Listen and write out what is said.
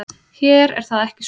Hér er það ekki svo.